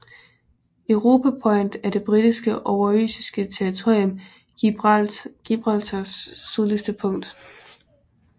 Europa Point er det britiske oversøiske territorium Gibraltars sydligste punkt